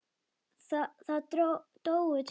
Það dóu tveir.